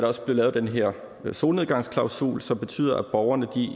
også blive lavet den her solnedgangsklausul som betyder at borgerne